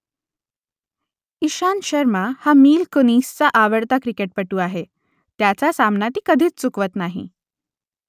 इशांत शर्मा हा मिल कुनिसचा आवडता क्रिकेटपटू आहे त्याचा सामना ती कधीच चुकवत नाही